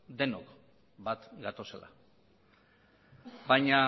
denok bat gatozela baina